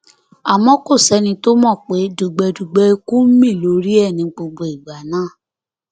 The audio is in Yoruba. àmọ kò sẹni tó mọ pé dùgbẹdùgbẹ ikú ń mí lórí ẹ ní gbogbo ìgbà náà